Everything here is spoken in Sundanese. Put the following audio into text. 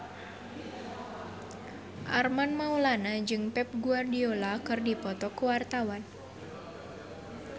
Armand Maulana jeung Pep Guardiola keur dipoto ku wartawan